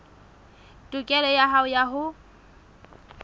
tokelo ya hao ya ho